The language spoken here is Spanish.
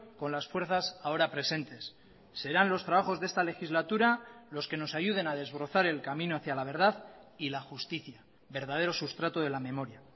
con las fuerzas ahora presentes serán los trabajos de esta legislatura los que nos ayuden a desbrozar el camino hacía la verdad y la justicia verdadero sustrato de la memoria